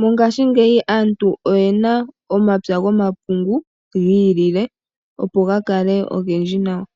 mongashingeyi aantu oyena omapya gomapungu giilile opo gakale ogendji nawa.